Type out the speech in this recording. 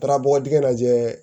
Taara bɔgɔ dingɛ lajɛ